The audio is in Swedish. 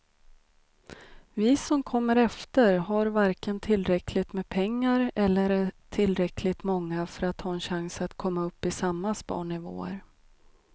Vi som kommer efter har varken tillräckligt med pengar eller är tillräckligt många för att ha en chans att komma upp i samma sparnivåer.